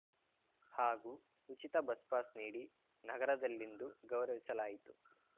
ಹಾಗೂ ಉಚಿತ bus pass ನೀಡಿ ನಗರದಲ್ಲಿಂದು ಗೌರವಿಸಲಾಯಿತು